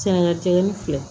Sɛnɛnna teliya ni fɛ